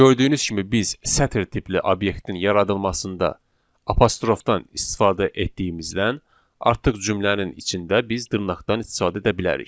Gördüyünüz kimi biz sətr tipli obyektin yaradılmasında apostrofdan istifadə etdiyimizdən artıq cümlənin içində biz dırnaqdan istifadə edə bilərik.